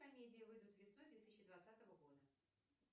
комедии выйдут весной две тысячи двадцатого года